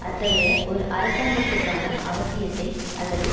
அத்தகைய ஒரு அரசாங்கத்துக்கான அவசியத்தை அல்லது